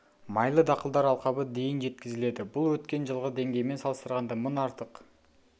майлы дақылдар алқабы дейін жеткізіледі бұл өткен жылғы деңгеймен салыстырғанда мың артық